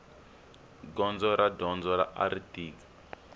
gondzo ra dyondzo ari tika